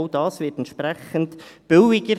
auch dies wird entsprechend billiger.